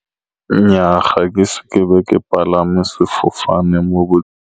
Nnyaa ga se ke be ke palame sefofane mo .